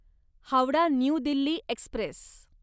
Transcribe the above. Howrah new Delhi Express